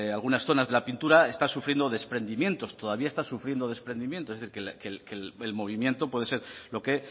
algunas zonas de la pintura está sufriendo desprendimientos todavía está sufriendo desprendimientos es decir que el movimiento puede ser lo que